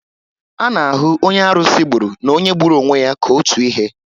A na ahụ onye arusi gburu na onye gburu onwe ya ka otu ihe